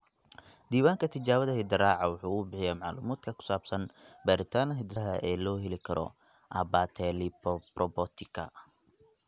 Diiwaanka Tijaabada Hidde-raaca (GTR) waxa uu bixiyaa macluumaadka ku saabsan baadhitaanada hidde-sidaha ee loo heli karo abetalipoprotika.